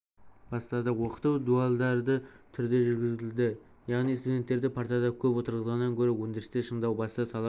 бастады оқыту дуальды түрде жүргізілді яғни студенттерді партада көп отырғызғаннан гөрі өндірісте шыңдау басты талап